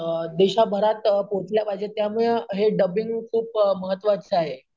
अं देशभरात अं पोचला पाहिजे त्यामुळे हे डब्बीन्ग अं खूप महत्वाचे आहे.